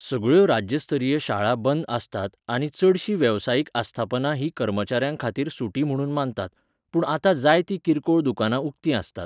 सगळ्यो राज्य स्तरीय शाळा बंद आसतात आनी चडशीं वेवसायीक आस्थापनां ही कर्मचाऱ्यां खातीर सुटी म्हणून मानतात, पूण आतां जायतीं किरकोळ दुकानां उक्तीं आसतात.